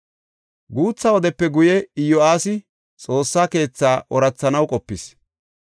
Guutha wodepe guye Iyo7aasi Xoossa keethaa oorathanaw qopis.